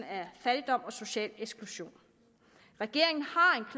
af fattigdom og social eksklusion regeringen